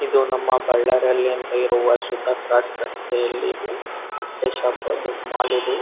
ಇದು ನಮ್ಮ ಬ್ಳ್ಳಾರಿಯಲ್ಲಿ ಅಂತ ಇರುವ ಶುದ್ದ ಕ್ರೋಸ್ಸ್ ರಸ್ತೆಯಲ್ಲಿ ಇದು ಡಾಕ್ಟರ್ ಶಾಪ್ ದೊಡ್ಡ್ ಮಾಲಿದು .